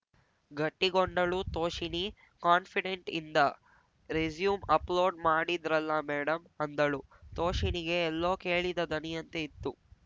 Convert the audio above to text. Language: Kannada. ಗಟ್ಟಿಗೊಂಡಳು ತೋಷಿಣೀ ಕಾನ್ಫಿಡೆಂಟ್‌ ಇಂದ ರೆಸ್ಯೂಮ್‌ ಅಪ್ಲೋಡ್‌ ಮಾಡಿದ್ರಲ್ಲ ಮೇಡಮ್‌ ಅಂದಳು ತೋಷಿಣಿಗೆ ಎಲ್ಲೋ ಕೇಳಿದ ದನಿಯಂತೆ ಇತ್ತು